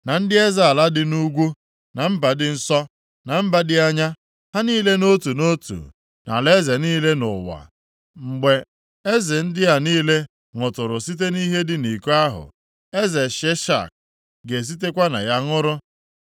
na ndị eze ala dị nʼugwu, na mba dị nso, na mba dị anya, ha niile nʼotu nʼotu, na alaeze niile dị nʼụwa. Mgbe eze ndị a niile ṅụtụrụ site nʼihe dị nʼiko ahụ, eze Sheshak ga-esitekwa na ya ṅụrụ.